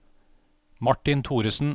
Martin Thoresen